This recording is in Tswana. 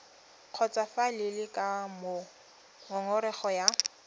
kgotsofalele ka moo ngongorego ya